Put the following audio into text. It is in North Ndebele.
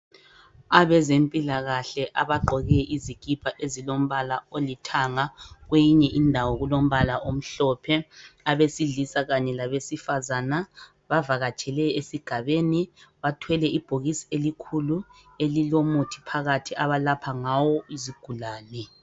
Abezempilakahle abagqoke izikhipha ezilombala olithanga, kweyinye indawo kulombala omhlophe. Abesilisa kanye labesifazana bavakatshele esigabeni ,bathwele ibhokisi elikhulu elilomuthi phakathi .Abalapha ngawo izigulane.